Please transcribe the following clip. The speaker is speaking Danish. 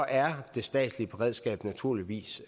er det statslige beredskab naturligvis